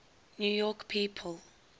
new york people